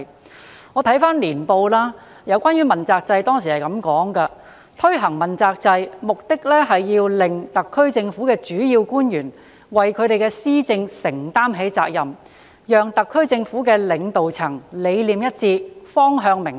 我翻閱《香港2001》年報，當中有關主要官員問責制的章節指出：推行問責制的目的是要令特區政府的主要官員為其施政承擔起責任；讓特區政府的領導層理念一致，方向明確。